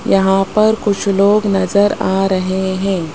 यहां पर कुछ लोग नजर आ रहे हैं।